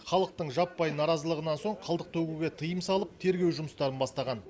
халықтың жаппай наразылығынан соң қалдық төгуге тыйым салып тергеу жұмыстарын бастаған